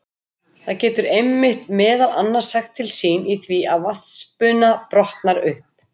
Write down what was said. Það getur einmitt meðal annars sagt til sín í því að vatnsbuna brotnar upp.